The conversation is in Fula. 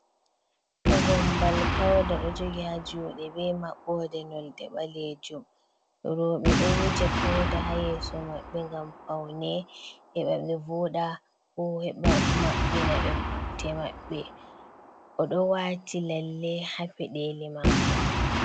Gombal pauda ɗo jogi ha juɗe be maɓɓode nonde balejum robe ɗo wuja pauda ha yeso maɓɓe ngam paune heɓa ɓe voda ko heɓa maɓɓina ɓe putte maɓɓe, oɗo wati lalle ha pedeli mako.